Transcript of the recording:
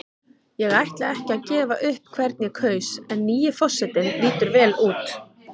Ég ætla ekki að gefa upp hvern ég kaus en nýi forsetinn lítur vel út.